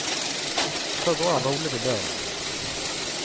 Så går han rolig til døren.